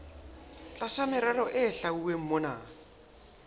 tlasa merero e hlwauweng mona